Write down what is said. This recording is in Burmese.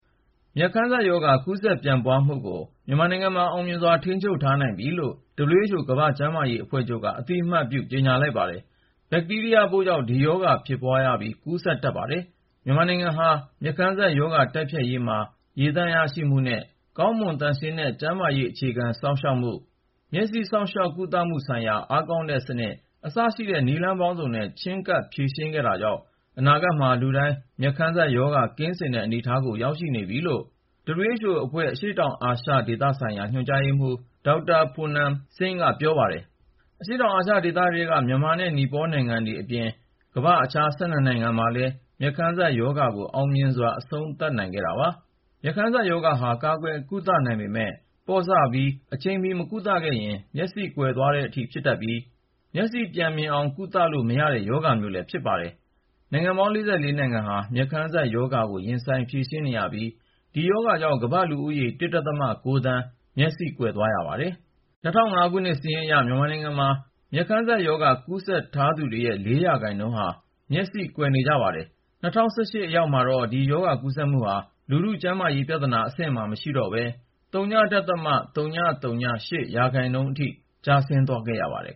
မျက်ခမ်းစပ်ရောဂါ ကူးစက်ပျံ့ပွားမှုကို မြန်မာနိုင်ငံမှာ အောင်မြင်စွာ ထိန်းချုပ်ထားနိုင်ပြီလို့ WHO ကမ္ဘာ့ကျန်းမာရေးအဖွဲ့ချုပ်က အသိအမှတ်ပြု ကြေညာပါတယ်။ ဘက်တီးရီးယားပိုးကြောင့် ဒီရောဂါဖြစ်လာရပြီး ကူးစက်တတ်ပါတယ်။ မြန်မာနိုင်ငံဟာ မျက်ခမ်းစပ်ရောဂါတိုက်ဖျက်ရေးမှာ ရေသန့်ရရှိမှုနဲ့ ကောင်းမွန်သန့်ရှင်းတဲ့ ကျန်းမာရေးအခြေခံ စောင့်ရှောက်မှု ၊ မျက်စိ စောင့်ရှောက်ကုသမှုဆိုင်ရာ အားကောင်းတဲ့စနစ် အစရှိတဲ့ နည်းလမ်းပေါင်းစုံနဲ့ ချည်းကပ်ဖြေရှင်းခဲ့တာကြောင့် အနာဂတ်မှာ လူတိုင်း မျက်ခမ်းစပ်ရောဂါ ကင်းစင်တဲ့ အနေအထားကို ရောက်ရှိနေပြီဖြစ်ကြောင်း WHO အဖွဲ့ အရှေ့တောင်အာရှ ဒေသဆိုင်ရာ ညွှန်ကြားရေးမှူး Dr Poonam Khetrapal Singh က ပြောပါတယ်။ အရှေ့တောင်အာရှ ဒေသထဲက မြန်မာနဲ့ နီပေါနိုင်ငံတွေအပြင် ကမ္ဘာ့ အခြား(၁၂)နိုင်ငံမှာလည်း မျက်ခမ်းစပ်ရောဂါကို အောင်မြင်စွာ အဆုံးသတ်နိုင်ခဲ့တာပါ။ မျက်ခမ်းစပ်ရောဂါဟာ ကာကွယ်ကုသနိုင်ပေမယ့် ပေါ့ဆပြီး အချိန်မီ မကုသခဲ့ရင် မျက်စိကွယ်သွားတဲ့အထိ ဖြစ်တတ်ပြီး၊ မျက်စိပြန်မြင်အောင် ကုသလို့ မရတဲ့ ရောဂါမျိုး ဖြစ်ပါတယ်။ နိုင်ငံပေါင်း (၄၄)နိုင်ငံဟာ မျက်ခမ်းစပ်ရောဂါကို ရင်ဆိုင်ဖြေရှင်းနေရပြီး၊ ဒီရောဂါကြောင့် ကမ္ဘာ့လူဦးရေ (၁.၉)သန်းဟာ မျက်စိကွယ်သွားရပါတယ်။ ၂၀၀၅ ခုနှစ်စာရင်းအရ မြန်မာနိုင်ငံမှာ မျက်ခမ်းစပ်ရောဂါ ကူးစက်ထားသူတွေရဲ့ ၄% ဟာ မျက်စိကွယ်နေကြပါတယ်။ ၂၀၁၈ ရောက်တဲ့အခါမှာတော့ ဒီရောဂါကူးစက်မှုဟာ လူထုကျန်းမာရေးပြဿနာ အဆင့်မှာ မရှိတော့ပဲ (ဝ.၀၀၈ %)အထိ ကျဆင်းသွားခဲ့ပါတယ်